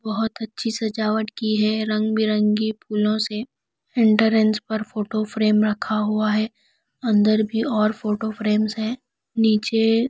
बहोत अच्छी सजावट की है रंग बिरंगी फूलों से एंट्रेंस पर फोटो फ्रेम रखा हुआ है अंदर भी और फोटो फ्रेम्स हैं नीचे--